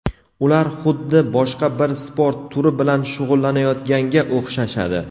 Ular xuddi boshqa bir sport turi bilan shug‘ullanayotganga o‘xshashadi.